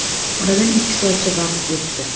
Oradan ikki oycha vaqt o‘tdi.